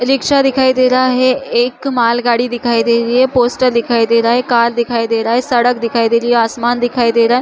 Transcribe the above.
Rickshaw दिखाई दे रेहा हे एक मालगाड़ी दिखाई दे रही हे एक पोस्टर दिखाई दे रहा हे कार दिखाई दे रहा हे सड़क दिखाई दे रही हे आसमान दिखाई दे रहा हें।